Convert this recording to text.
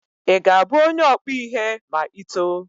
Ị ga-abụ onye ọkpụ ihe ma Ị too?